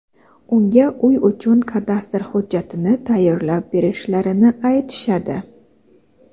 unga uy uchun kadastr hujjatini tayyorlab berishlarini aytishadi.